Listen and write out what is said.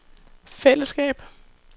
fællesskab